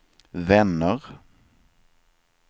vänner